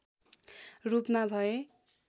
रूपमा भए